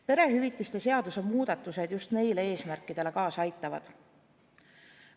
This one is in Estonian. Perehüvitiste seaduse muudatused just neid eesmärke saavutada aitavad.